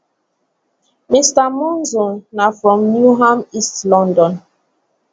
mr monzo na from newham east london